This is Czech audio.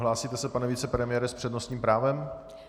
Hlásíte se, pane vicepremiére, s přednostním právem?